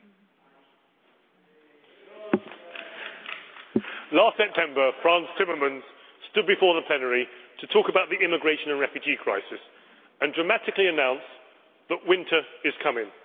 Mr President, last September Frans Timmermans stood before the plenary to talk about the immigration and refugee crisis and dramatically announced that winter was coming.